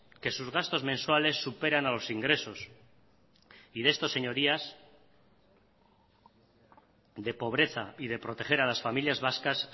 que sus gastos mensuales superan a los ingresos y de esto señorías de pobreza y de proteger a las familias vascas